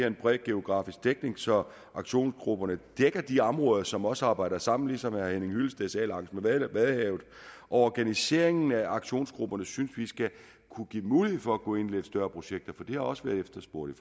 en bred geografisk dækning så aktionsgrupperne dækker de områder som også arbejder sammen ligesom herre henning hyllested sagde langs med vadehavet og organiseringen af aktionsgrupperne synes vi skal kunne give mulighed for at gå ind i lidt større projekter for det har også været efterspurgt